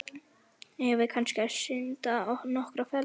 Eigum við kannski að synda nokkrar ferðir?